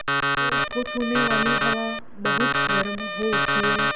तो उसको छूने वाली हवा बहुत गर्म हो उठती है